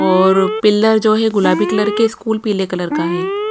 और पिलर जो है गुलाबी कलर के स्कूल पीले कलर का है।